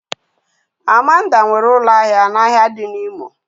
Amanda nwere ụlọ ahịa n'ahịa dị n'Imo